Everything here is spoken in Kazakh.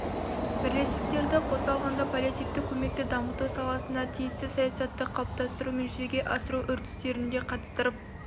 бірлестіктерді қоса алғанда паллиативтік көмекті дамыту саласындағы тиісті саясатты қалыптастыру мен жүзеге асыру үрдістеріне қатыстырып